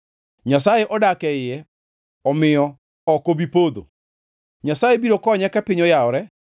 Nyasaye odak e iye omiyo ok obi podho; Nyasaye biro konye ka piny oyawore.